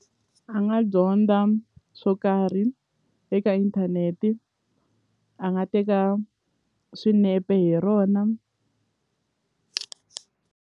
A nga dyondza swo karhi eka inthanete a nga teka swinepe hi rona.